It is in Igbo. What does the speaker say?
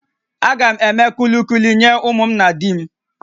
Agam eme kulukuli nye ụmụ na di m